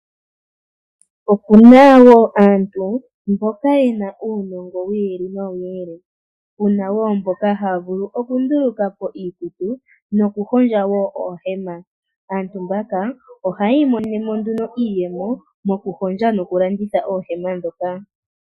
Opu na wo aantu mboka ye na uunongo wi ili nowi ili. Pu na wo mboka haya vulu oku nduluka po iikutu noku hondja wo oohema. Aantu mbaka ohaya imonene nduno iiyemo mokuhondja noku landitha oohema ndhoka.